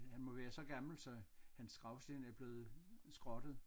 Han må være så gammel så hans gravsten er blevet skrottet